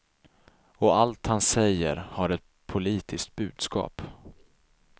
Och allt han säger har ett politiskt budskap.